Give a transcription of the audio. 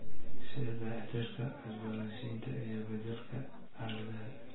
Sida dayactirka, cusboonaysiinta, iyo beddelka aaladaha.